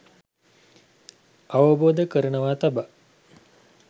අවබෝධ කරනවා තබා